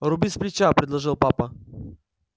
руби сплеча предложил папа